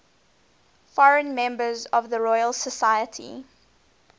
foreign members of the royal society